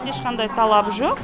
ешқандай талап жоқ